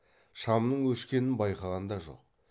шамның өшкенін байқаған да жоқ